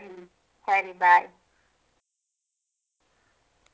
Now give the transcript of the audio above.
ಹ್ಮ್ ಸರಿ bye.